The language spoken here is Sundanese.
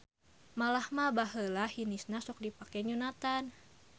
Malah mah baheula hinisna sok dipake nyunatan.